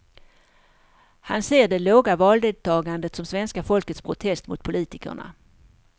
Han ser det låga valdeltagandet som svenska folkets protest mot politikerna.